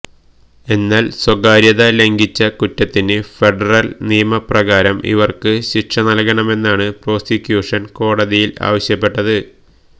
എന്നാല് സ്വകാര്യത ലംഘിച്ച കുറ്റത്തിന് ഫെഡറല് നിയമപ്രകാരം ഇവര്ക്ക് ശിക്ഷ നല്കണമെന്നാണ് പ്രോസിക്യൂഷന് കോടതിയില് ആവശ്യപ്പെട്ടത്